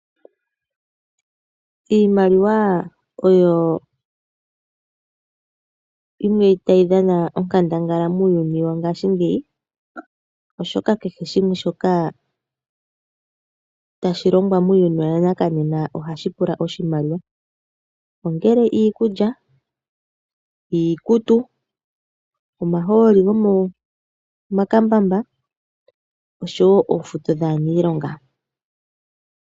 Iimaliwa oyo yimwe tayi dhana onkandangala muuyuni wongaashingeyi, oshoka kehe shimwe shoka tashi longwa muuyuni wana kanena ohashi pula iimaliwa, ongele iikulya, iikutu, omahooli gomomakambambaa oshowo oofuto dhaaniilonga.